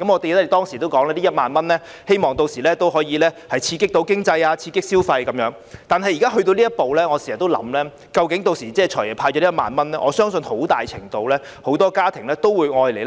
我們當時說希望這1萬元可以刺激經濟和消費，但現在到了這一步，我經常也在想，"財爺"派發了這1萬元後，我相信很多家庭屆時都會留